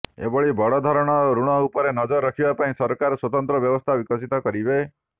ଏଭଳି ବଡ଼ ଧରଣର ଋଣ ଉପରେ ନଜର ରଖିବା ପାଇଁ ସରକାର ସ୍ୱତନ୍ତ୍ର ବ୍ୟବସ୍ଥା ବିକଶିତ କରିବେ